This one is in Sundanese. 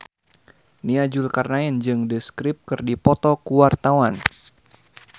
Nia Zulkarnaen jeung The Script keur dipoto ku wartawan